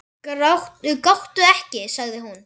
Gráttu ekki, sagði hún.